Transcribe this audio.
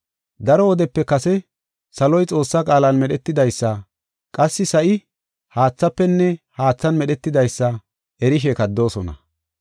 Daro wodepe kase saloy Xoossaa qaalan medhetidaysa; qassi sa7i haathafenne haathan medhetidaysa erishe kaddoosona.